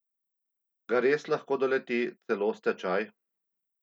Ga res lahko doleti celo stečaj?